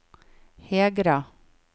Hegra